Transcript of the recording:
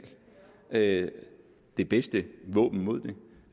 det det bedste våben mod